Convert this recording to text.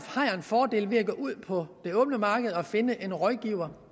fordel ved at gå ud på det åbne marked og finde en rådgiver